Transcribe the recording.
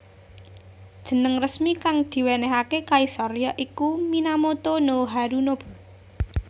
Jeneng resmi kang diwenehake kaisar ya iku Minamoto no Harunobu